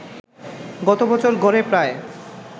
গতবছর গড়ে প্রায়